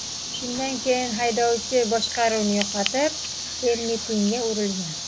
Shundan keyin haydovchi boshqaruvni yo‘qotib, termit iniga urilgan.